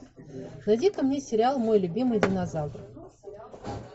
найди ка мне сериал мой любимый динозавр